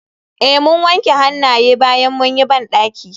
Eh mun wanke hannaye bayan mun yi bandaki.